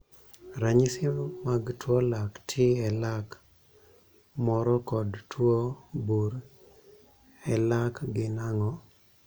Ranyisi mag tuo lak tii e lak moro kod tuo bur e lak gin ang'o?